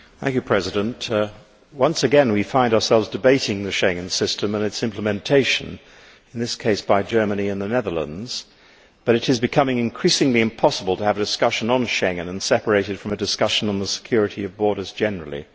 Mr President, once again we find ourselves debating the Schengen system and its implementation in this case by Germany and the Netherlands, but it is becoming increasingly impossible to have a discussion on Schengen separated from a discussion on the security of borders generally.